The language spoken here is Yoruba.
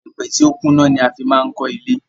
Iyèpè tí o kún ná ni a maá fi n kọ́ ilé